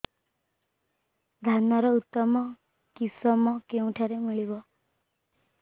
ଧାନର ଉତ୍ତମ କିଶମ କେଉଁଠାରୁ ମିଳିବ